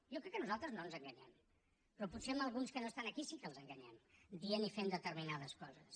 jo crec que nosaltres no ens enganyem però potser alguns que no estan aquí sí que els enganyem dient i fent determinades coses